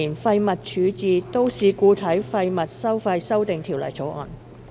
《2018年廢物處置條例草案》。